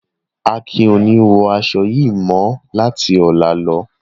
Akin ko ni wọ aṣọ yii mọ lati ọla lo.